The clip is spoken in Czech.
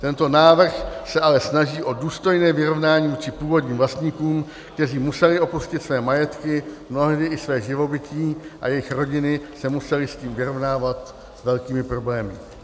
Tento návrh se ale snaží o důstojné vyrovnání vůči původním vlastníkům, kteří museli opustit své majetky, mnohdy i své živobytí a jejichž rodiny se musely s tím vyrovnávat s velkými problémy.